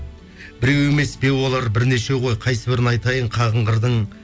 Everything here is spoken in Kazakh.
біреу емес беу олар бірнешеу ғой қайсыбірін айтайын қағынғырдың